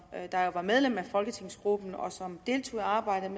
der jo var medlem af folketingsgruppen og som deltog i arbejdet